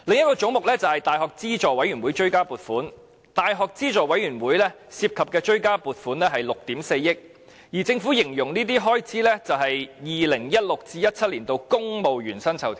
教資會的追加撥款是約6億 4,000 萬元，而政府同樣把這項追加撥款的原因形容為 "2016-2017 年度公務員薪酬調整"。